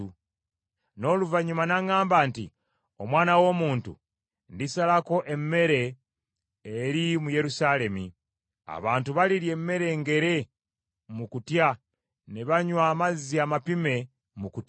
N’oluvannyuma n’aŋŋamba nti, “Omwana w’omuntu, ndisalako emmere eri mu Yerusaalemi. Abantu balirya emmere engere mu kutya, ne banywa amazzi amapime mu kutya,